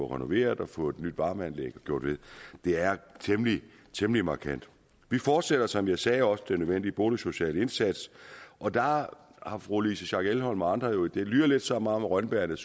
renoveret og fået nyt varmeanlæg og gjort ved det er temmelig temmelig markant vi fortsætter som jeg sagde også den nødvendige boligsociale indsats og der har fru louise schack elholm og andre det lyder lidt som om rønnebærrene